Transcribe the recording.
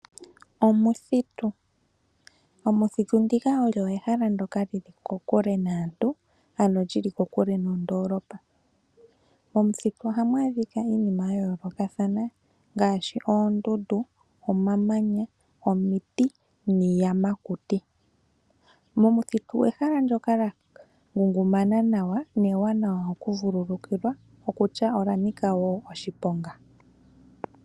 Omuthitu, omuthitu ndika olyo ehala ndyoka lili kokule naantu ano lyili kokule nondoolopa. Momuthitu ohamu adhika iinima ya yoolokathana ngaashi oondundu, omamanya, omiti, niiyamakuti. Momuthitu ehala ndyoka lya ngungumana nawa newanawa oku vululukilwa, okutya ola nika wo oshiponga.